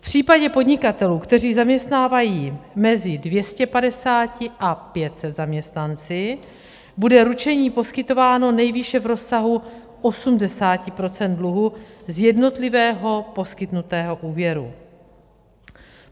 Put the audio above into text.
V případě podnikatelů, kteří zaměstnávají mezi 250 až 500 zaměstnanci, bude ručení poskytováno nejvýše v rozsahu 80 % dluhu z jednotlivého poskytnutého úvěru.